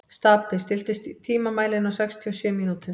Stapi, stilltu tímamælinn á sextíu og sjö mínútur.